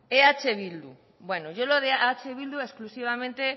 eh bildu yo lo de eh bildu exclusivamente